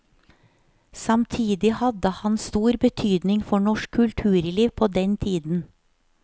Samtidig hadde han stor betydning for norsk kulturliv på den tiden.